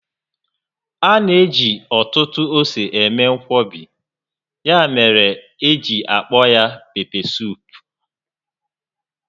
A na-eji ọtụtụ ose eme nkwọbi, ya mere eji akpọ aha ya..pepesuup